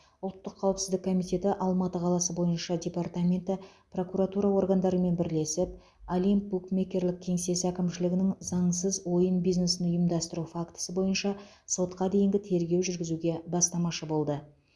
ұлттық қауіпсіздік комитеті алматы қаласы бойынша департаменті прокуратура органдарымен бірлесіп олимп букмекерлік кеңсесі әкімшілігінің заңсыз ойын бизнесін ұйымдастыру фактісі бойынша сотқа дейінгі тергеу жүргізуге бастамашы болды